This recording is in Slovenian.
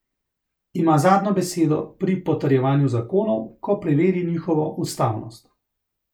Ima zadnjo besedo pri potrjevanju zakonov, ko preveri njihovo ustavnost.